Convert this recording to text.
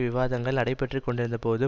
விவாதங்கள் நடைபெற்று கொண்டிருந்தபோது